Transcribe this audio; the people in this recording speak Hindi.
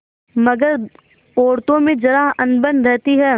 मगर औरतों में जरा अनबन रहती है